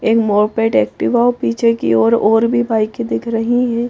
एक moped Activa पीछे की ओर और भी बाइके दिख रही है।